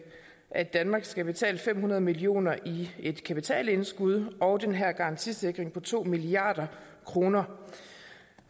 at danmark skal betale fem hundrede millioner i et kapitalindskud og den her garantisikring på to milliard kroner